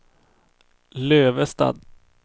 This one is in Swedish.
Lövestad